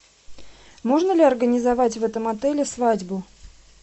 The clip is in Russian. можно ли организовать в этом отеле свадьбу